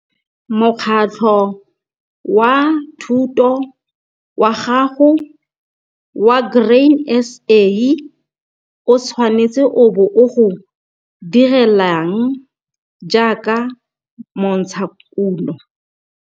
Mokgatlho wa thoto wa gago wa Grain SA, o tshwanetse o bo o go direlang jaaka montshakuno?